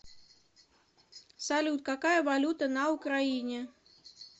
салют какая валюта на украине